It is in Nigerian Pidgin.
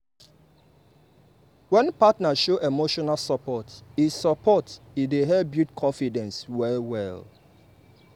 wen partner show emotional support e support e dey help build confidence well well.